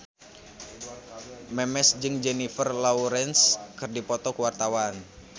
Memes jeung Jennifer Lawrence keur dipoto ku wartawan